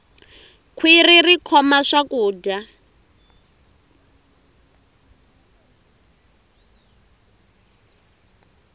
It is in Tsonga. khwirhi ri khoma swakudya